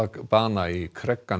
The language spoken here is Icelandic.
bana í